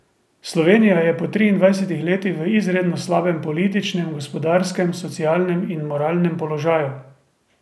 Slovenija je po triindvajsetih letih v izredno slabem političnem, gospodarskem, socialnem in moralnem položaju.